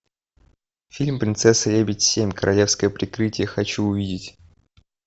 фильм принцесса лебедь семь королевское прикрытие хочу увидеть